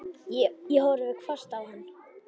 Ég horfði hvasst á hann.